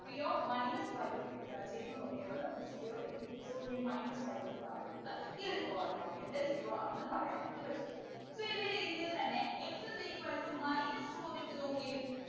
p of minus five ഏർ ചെയ്തു നോക്കിയപ്പോ നമുക്ക് zero എന്ന് കിട്ടി so ഈ minus five എന്ന് പറയുന്നത് ഈ ഒരു polynomial ൻ്റെ zero ആണെന്ന് പറയാൻ ആയിട്ട് പറ്റും so ഇത് ഇതിൽ തന്നെ x is equal to minus two ഒന്ന് ഇട്ട് നോക്കിയെ